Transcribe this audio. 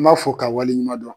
N b'a fɔ ka waleɲuman dɔn.